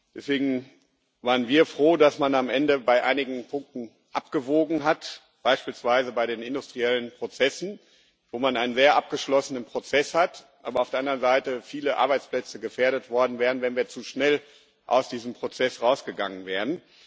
Deswegen waren wir froh, dass man am Ende bei einigen Punkten abgewogen hat, beispielsweise bei den industriellen Prozessen, wo man einen sehr abgeschlossenen Prozess hat, aber auf der anderen Seite viele Arbeitsplätze gefährdet worden wären, wenn wir zu schnell aus diesem Prozess rausgegangen wären.